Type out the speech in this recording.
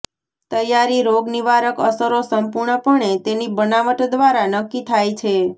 તૈયારી રોગનિવારક અસરો સંપૂર્ણપણે તેની બનાવટ દ્વારા નક્કી થાય છે